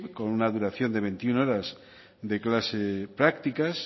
con una duración de veintiuno horas de clase prácticas